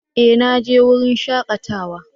Eh! Na je wurin shakatawa